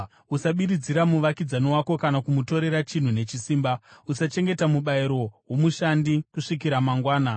“ ‘Usabiridzira muvakidzani wako kana kumutorera chinhu nechisimba. “ ‘Usachengeta mubayiro womushandi kusvikira mangwana.